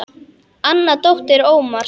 Anna dóttir Ómars.